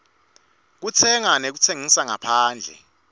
kutsenga nekutsengisa ngaphandle